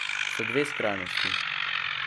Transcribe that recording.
Sta dve skrajnosti.